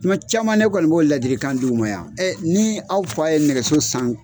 Tuma caman ne kɔni b'o ladikan dii u ma yan , ɛ ni aw fa ye nɛgɛso san